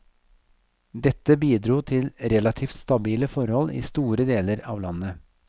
Dette bidro til relativt stabile forhold i store deler av landet.